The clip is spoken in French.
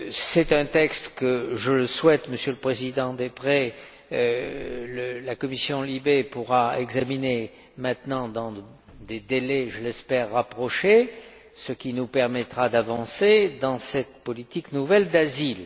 C'est un texte que, je le souhaite, Monsieur le Président Deprez, la commission LIBE pourra examiner dans des délais, je l'espère, rapprochés, ce qui nous permettra d'avancer dans cette politique nouvelle d'asile.